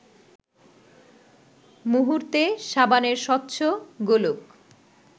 মুহূর্তে সাবানের স্বচ্ছ গোলক